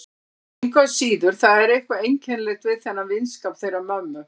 Engu að síður, það er eitthvað einkennilegt við þennan vinskap þeirra mömmu.